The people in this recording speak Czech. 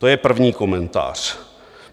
To je první komentář.